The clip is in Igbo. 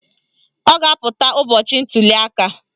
Ọ ga-apụta ụbọchị ntuliaka